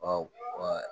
Ɔ